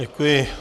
Děkuji.